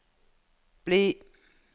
bli